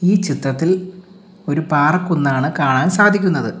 ഈ ചിത്രത്തിൽ ഒരു പാറക്കുന്നാണ് കാണാൻ സാധിക്കുന്നത്.